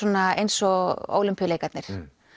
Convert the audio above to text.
eins og Ólympíuleikarnir